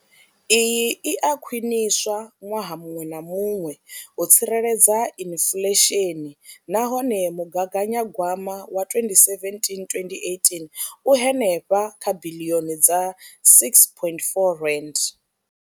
Iyi i a khwiniswa ṅwaha muṅwe na muṅwe u tsireledza inflesheni nahone mugaganyagwama wa 2017 2018 u henefha kha biḽioni dza R6.4.